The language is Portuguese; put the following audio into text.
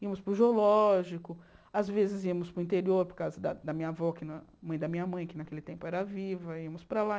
Íamos para o zoológico, às vezes íamos para o interior, por causa da da minha avó, mãe da minha mãe, que naquele tempo era viva, íamos para lá.